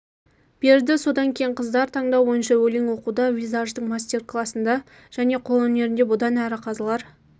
берді содан кейінқыздар таңдау бойынша өлең оқуда визаждың мастер класында және қолөңерінде бұдан әрі қазылар